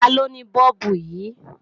Taló ni Bọ́ọ̀bù yìí?